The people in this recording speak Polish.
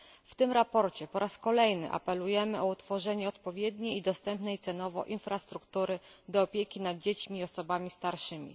W tym sprawozdaniu po raz kolejny apelujemy o stworzenie odpowiedniej i dostępnej cenowo infrastruktury opieki nad dziećmi i osobami starszymi.